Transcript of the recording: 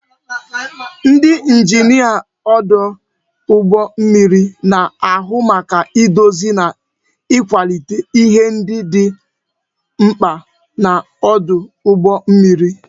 Ndị injinia ọdụ ụgbọ mmiri na-ahụ maka idozi na ịkwalite ihe ndị dị mkpa n'ọdụ ụgbọ mmiri